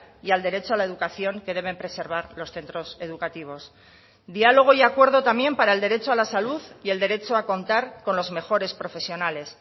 y al derecho a la educación que deben preservar los centros educativos diálogo y acuerdo también para el derecho a la salud y el derecho a contar con los mejores profesionales